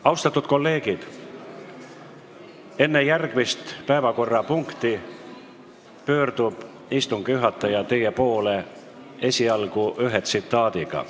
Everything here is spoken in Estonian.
Austatud kolleegid, enne järgmist päevakorrapunkti pöördub istungi juhataja teie poole ühe tsitaadiga.